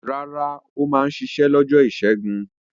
Rárá, ó máa ń ṣiṣẹ́ lọ́jọ́ ìṣẹ́gun.